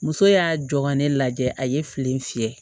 Muso y'a jɔ ka ne lajɛ a ye fili in fiyɛ